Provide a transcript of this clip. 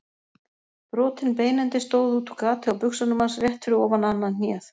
Brotinn beinendi stóð útúr gati á buxunum hans rétt fyrir ofan annað hnéð.